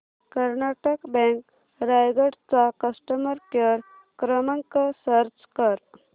Karnataka bank Raigad चा customer care क्रमांक search कर